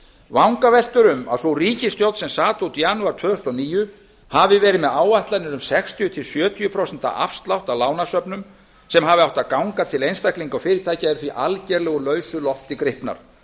vangaveltur um að sú ríkisstjórn sem sat út janúar tvö þúsund og níu hafi verið með áætlanir um sextíu til sjötíu prósent afslátt af lánasöfnum sem hafi átt að ganga til einstaklinga og fyrirtækja eru því algerlega úr lausu lofti gripnar